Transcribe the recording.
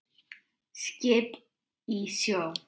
Skip í sjó.